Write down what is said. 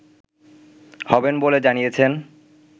হবেন বলে জানিয়েছেন